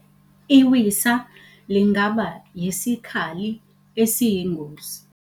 Iwisa lingaba yisikhali esiyingozi.